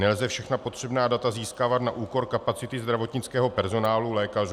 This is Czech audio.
Nelze všechna potřebná data získávat na úkor kapacity zdravotnického personálu, lékařů.